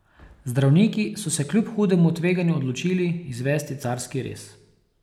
Zdravniki so se kljub hudemu tveganju odločili izvesti carski rez.